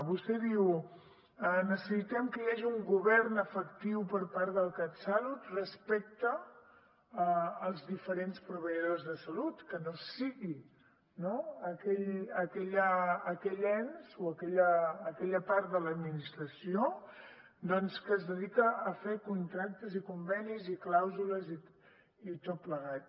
vostè diu necessitem que hi hagi un govern efectiu per part del catsalut respecte als diferents proveïdors de salut que no sigui no aquell ens o aquella part de l’administració que es dedica a fer contractes i convenis i clàusules i tot plegat